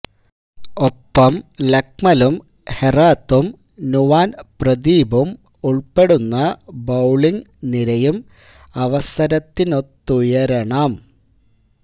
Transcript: ഒപ്പം ലക്മലും ഹെറാത്തും നുവാന് പ്രദീപും ഉള്പ്പെടുന്ന ബൌളിങ് നിരയും അവസരത്തിനൊത്തുയരണം